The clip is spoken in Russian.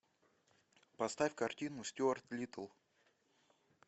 поставь картину стюарт литтл